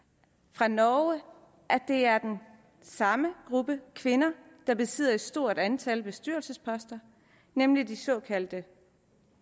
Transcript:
fra norge at det er den samme gruppe kvinder der besidder et stort antal bestyrelsesposter nemlig de såkaldte